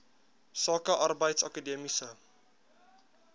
sake arbeids akademiese